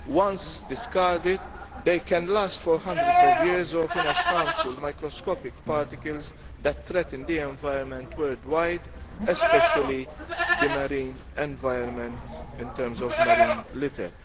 Once discarded, they can last for hundreds of years, often as harmful microscopic particles that threaten the environment worldwide, especially the marine environment in terms of marine litter.